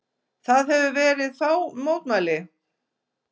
Það hafa verið fá mótmæli